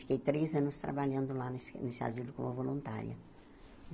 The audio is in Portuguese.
Fiquei três anos trabalhando lá nesse nesse asilo como voluntária.